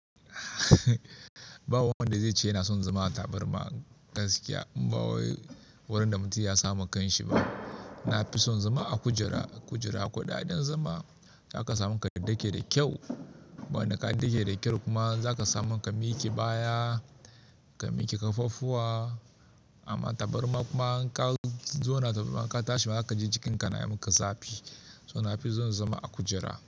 Ba wanda zai ce yana son zama tabarma gaskiya. In ba wai wurin da mutum ya samu kan shi ba. Na fi son zama a kujera. Kujera ko ɗaya ina zama zaka samu ka dake da kyau. Wanda ka dake da kyau kuma za ka samu ka miƙe baya, ka miƙe ƙafafuwa. Amma tabarma kuma in ka zauna da ka tashi ma zaka ji jikinka na yi maka zafi. To na fi son zama a kujera.